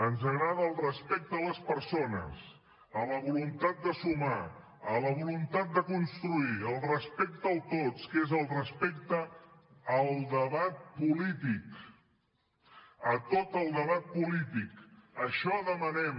ens agrada el respecte a les persones a la voluntat de sumar a la voluntat de construir el respecte al tots que és el respecte al debat polític a tot el debat polític això demanem